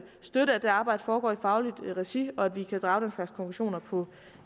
støtte at det arbejde foregår i fagligt regi og at vi kan drage den slags konklusioner på